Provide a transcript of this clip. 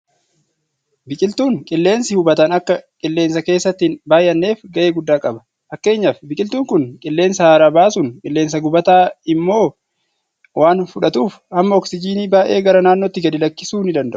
Biqiltuun qilleensi hubatan akka qilleensa keessatti hin baay'anneef gahee guddaa qaba. Fakkeenyaaf biqiltuun kun qilleensa haaraa baasuun; qilleensa gubataa immoo waan fudhatuuf hamma oksijiinii baay'ee gara naannootti gadi lakkisuu ni danda'a.